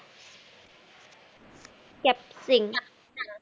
cap pring